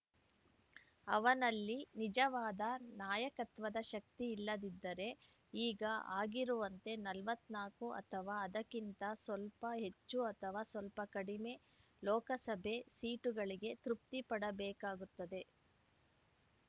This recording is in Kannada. ಅವನಲ್ಲಿ ನಿಜವಾದ ನಾಯಕತ್ವದ ಶಕ್ತಿಯಿಲ್ಲದಿದ್ದರೆ ಈಗ ಆಗಿರುವಂತೆ ನಲವತ್ತ್ ನಾಕು ಅಥವಾ ಅದಕ್ಕಿಂತ ಸ್ವಲ್ಪ ಹೆಚ್ಚು ಅಥವಾ ಸ್ವಲ್ಪ ಕಡಿಮೆ ಲೋಕಸಭೆ ಸೀಟುಗಳಿಗೆ ತೃಪ್ತಿಪಡಬೇಕಾಗುತ್ತದೆ